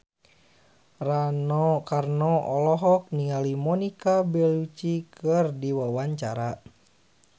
Rano Karno olohok ningali Monica Belluci keur diwawancara